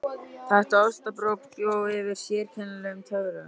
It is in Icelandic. Þetta ostabrauð bjó yfir sérkennilegum töfrum.